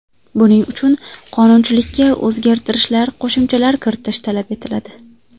Buning uchun qonunchilikka o‘zgartishlar, qo‘shimchalar kiritish talab etiladi.